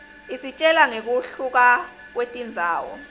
isitjela ngekuhluka kwetindzawo